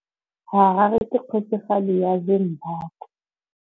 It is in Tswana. Harare ke kgosigadi ya Zimbabwe.